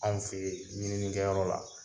Anw fɛ yen, ɲininkɛyɔrɔ la.